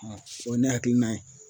A o ye ne hakilina ye